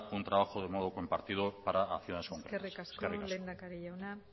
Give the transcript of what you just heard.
un trabajo de modo compartido para acciones humanas eskerrik asko eskerrik asko lehendakari jauna